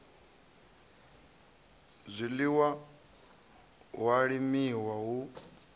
zwiḽiwa hu a limiwa hu